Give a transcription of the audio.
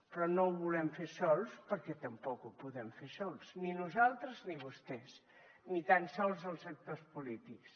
però no ho volem fer sols perquè tampoc ho podem fer sols ni nosaltres ni vostès ni tan sols els actors polítics